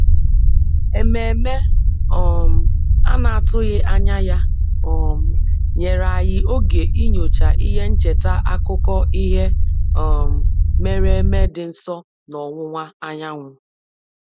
Ezumike anyi na-atụghị anya nyere anyị oge iji nyochaa ihe ncheta akụkọ ihe mere eme dị anyị nso n'oge ọwụwa anyanwu.